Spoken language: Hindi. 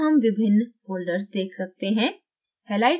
यहाँ हम विभिन्न folders देख सकते हैं